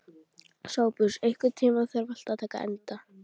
Sophus, einhvern tímann þarf allt að taka enda.